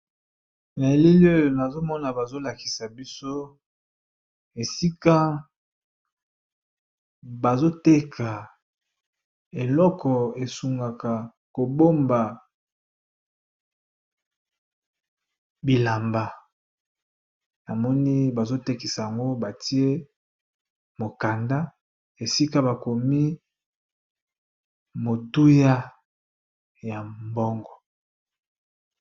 Naelili oyo nazomona bazolakisa biso esika bazoteka babiloko oyo esunga pona kobomba bilamba